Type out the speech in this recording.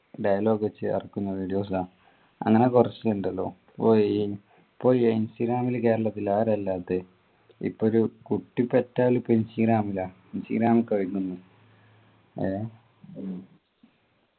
dilogue ചേർക്കുന്നതിൽ അങ്ങനെ കുറച്ചു ഉണ്ടല്ലോ പോയി പോയി ഇൻസ്റ്റാഗ്രാമിൽ കേരളത്തിൽ ആരാ ഇല്ലാത്തെ ഇപ്പൊ ഒരു കുട്ടി പെറ്റൽ ഇപ്പൊ ഇൻസ്റാഗ്രാമിലാ ഇൻസ്റ്റാഗ്രാം എഹ്